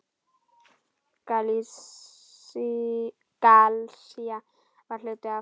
Galisía var hluti af